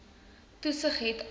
toesig het a